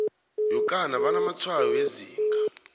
yokana banamatshwayo wezinga